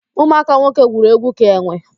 Ụmụaka nwoke gwuru egwu ka enwe